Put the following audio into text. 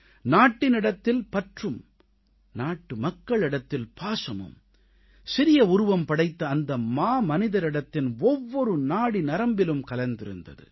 நாட்டினிடத்தில் பற்றும் நாட்டுமக்களிடத்தில் பாசமும் சிறிய உருவம் படைத்த அந்த மாமனிதரிடத்தின் ஒவ்வொரு நாடிநரம்பிலும் கலந்திருந்தது